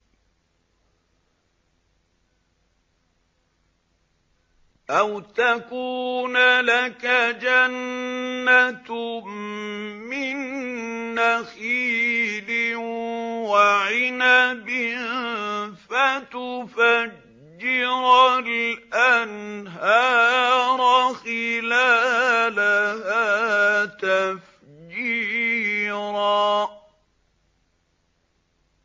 أَوْ تَكُونَ لَكَ جَنَّةٌ مِّن نَّخِيلٍ وَعِنَبٍ فَتُفَجِّرَ الْأَنْهَارَ خِلَالَهَا تَفْجِيرًا